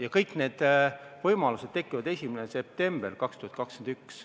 Ja kõik need võimalused tekivad 1. septembril 2021.